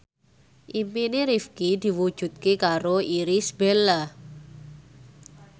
impine Rifqi diwujudke karo Irish Bella